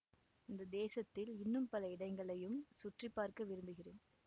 இந்த தேசத்தில் இன்னும் பல இடங்களையும் சுற்றி பார்க்க விரும்புகிறேன்